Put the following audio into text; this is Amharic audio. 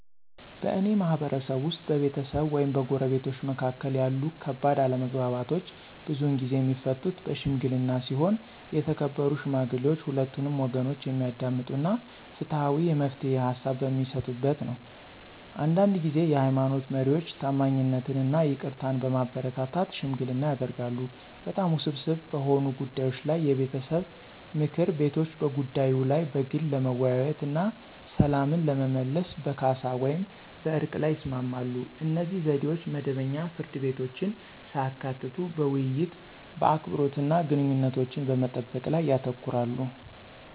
በእኔ ማህበረሰብ ውስጥ፣ በቤተሰብ ወይም በጎረቤቶች መካከል ያሉ ከባድ አለመግባባቶች ብዙውን ጊዜ የሚፈቱት በሺምግሊና ሲሆን የተከበሩ ሽማግሌዎች ሁለቱንም ወገኖች የሚያዳምጡ እና ፍትሃዊ የመፍትሄ ሃሳብ በሚሰጡበት ነው። አንዳንድ ጊዜ የሃይማኖት መሪዎች ታማኝነትን እና ይቅርታን በማበረታታት ሽምግልና ያደርጋሉ። በጣም ውስብስብ በሆኑ ጉዳዮች ላይ የቤተሰብ ምክር ቤቶች በጉዳዩ ላይ በግል ለመወያየት እና ሰላምን ለመመለስ በካሳ ወይም በዕርቅ ላይ ይስማማሉ. እነዚህ ዘዴዎች መደበኛ ፍርድ ቤቶችን ሳያካትቱ በውይይት፣ በአክብሮት እና ግንኙነቶችን በመጠበቅ ላይ ያተኩራሉ።